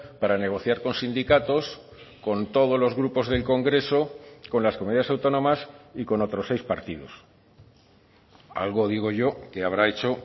para negociar con sindicatos con todos los grupos del congreso con las comunidades autónomas y con otros seis partidos algo digo yo que habrá hecho